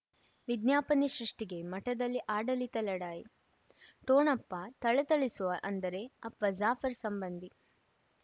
ವಿಜ್ಞಾಪನೆ ಸೃಷ್ಟಿಗೆ ಮಠದಲ್ಲಿ ಆಡಳಿತ ಲಢಾಯಿ ಠೊಣಪ ಥಳಥಳಿಸುವ ಅಂದರೆ ಅಪ್ಪ ಜಾಫರ್ ಸಂಬಂಧಿ